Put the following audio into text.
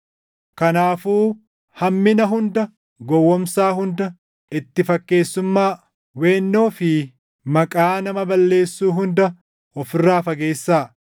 Kanaafuu hammina hunda, gowwoomsaa hunda, itti fakkeessummaa, weennoo fi maqaa nama balleessuu hunda of irraa fageessaa.